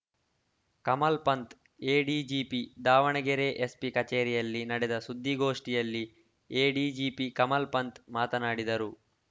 Kamal Pant ADGP Davanagere SP ಕಚೇರಿಯಲ್ಲಿ ನಡೆದ ಸುದ್ದಿಗೋಷ್ಠಿಯಲ್ಲಿ ಎಡಿಜಿಪಿ ಕಮಲ್‌ಪಂಥ್‌ ಮಾತನಾಡಿದರು